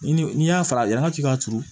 Ni n'i y'a fara yan k'i k'a turu